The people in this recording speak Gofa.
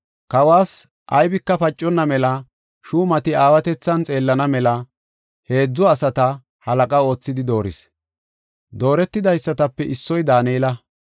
Kawas aybika paconna mela shuumata aawatethan xeellana mela heedzu asata halaqa oothidi dooris; dooretidaysatape issoy Daanela.